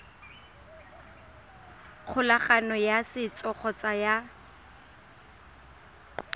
kgolagano ya setso kgotsa ya